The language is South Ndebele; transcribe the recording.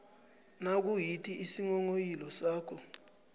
nayikuthi isinghonghoyilo sakho